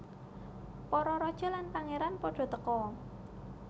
Para raja lan pangeran pada teka